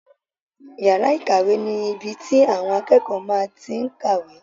Yàrá ìkàwé ni ibi tí àwọn akẹ́kọ̀ọ́ máa tí n kàwé